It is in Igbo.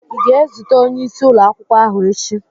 Ị ga-ezute onyeisi ụlọ akwụkwọ ahụ echi?